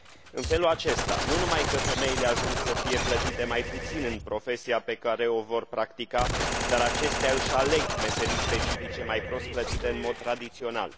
În felul acesta, nu numai că femeile ajung să fie plătite mai puțin în profesia pe care o vor practica dar acestea își aleg meserii specifice, mai prost plătite în mod tradițional.